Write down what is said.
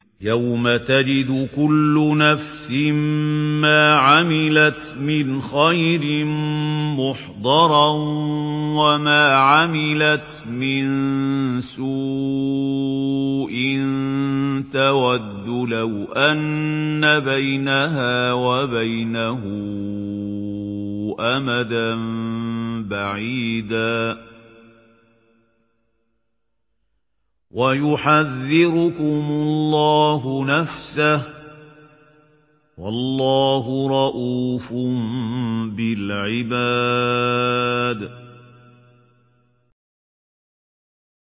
يَوْمَ تَجِدُ كُلُّ نَفْسٍ مَّا عَمِلَتْ مِنْ خَيْرٍ مُّحْضَرًا وَمَا عَمِلَتْ مِن سُوءٍ تَوَدُّ لَوْ أَنَّ بَيْنَهَا وَبَيْنَهُ أَمَدًا بَعِيدًا ۗ وَيُحَذِّرُكُمُ اللَّهُ نَفْسَهُ ۗ وَاللَّهُ رَءُوفٌ بِالْعِبَادِ